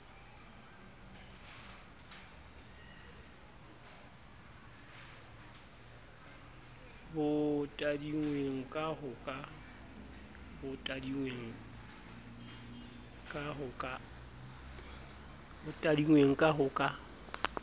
bo tadinngweng ka ho ka